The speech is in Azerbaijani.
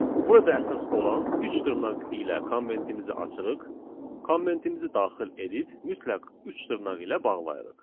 Burada əsas olan üç dırnaq ilə komandimizi açırıq, komandimizi daxil edib mütləq üç dırnaq ilə bağlayırıq.